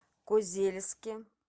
козельске